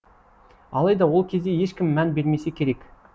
алайда ол кезде ешкім мән бермесе керек